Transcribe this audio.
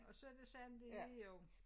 Og så det sådan det er jo